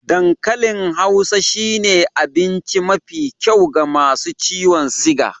Dan kalin hausa shine abince mafi kyau ga masu ciwon siga